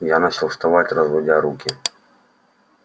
я начал вставать разводя руки